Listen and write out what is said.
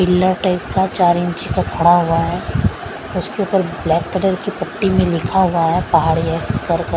pillar type का चार इंची का खड़ा हुआ है उसके ऊपर ब्लैक कलर की पट्टी में लिखा हुआ है पहाड़ी एक्स कर कर--